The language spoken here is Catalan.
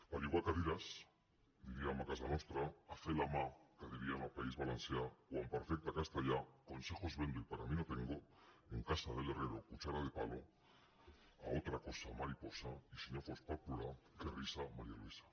per llogar hi cadires diríem a casa nostra a fer la mà que dirien al país valencià o en perfecte castellà consejos vendo y para mí no tengoherrero cuchara de palo a otra cosa mariposafos per plorar qué risa maría luisa